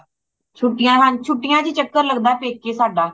ਛੁਟੀਆਂ ਹਾਂ ਛੁਟੀਆਂ ਚ ਚੱਕਰ ਲਗਦਾ ਪੇਕੇ ਸਾਡਾ